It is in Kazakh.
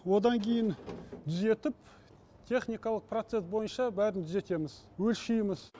одан кейін түзетіп техникалық процесс бойынша бәрін түзетеміз өлшейміз